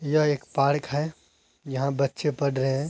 यह एक पार्क है। यहाँ बच्चे पढ़ रहे हैं।